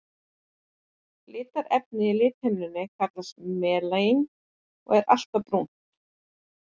Litarefnið í lithimnunni kallast melanín og er alltaf brúnt.